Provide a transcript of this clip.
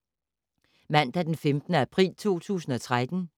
Mandag d. 15. april 2013